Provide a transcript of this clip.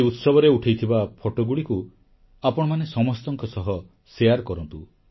ଏହି ଉତ୍ସବରେ ଉଠେଇଥିବା ଫଟୋଗୁଡ଼ିକୁ ଆପଣମାନେ ସମସ୍ତଙ୍କ ସହ ସେୟାର କରନ୍ତୁ